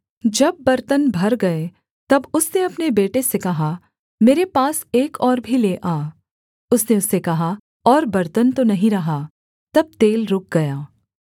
जब बर्तन भर गए तब उसने अपने बेटे से कहा मेरे पास एक और भी ले आ उसने उससे कहा और बर्तन तो नहीं रहा तब तेल रुक गया